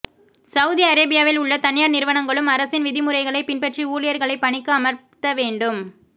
Saudi அரேபியாவி்ல் உள்ள தனியார் நிறுவனங்களும் அரசின் விதிமுறைகளைப் பின்பற்றி ஊழியர்களை பணிக்கு அமர்த்த வேண்டும்